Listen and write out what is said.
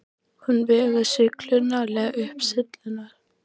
Hún vegur sig klunnalega upp syllurnar.